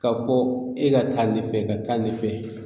Ka fɔ e lataa ɲɛfɛ ka taa ɲɛfɛ